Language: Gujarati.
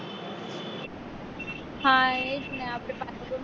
હા એ જ ને આપડે પાલનપુર માં